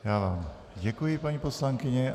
Já vám děkuji, paní poslankyně.